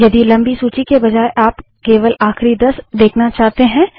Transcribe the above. यदि लम्बी सूची के बजाय आप केवल आखिरी दस देखना चाहते हैं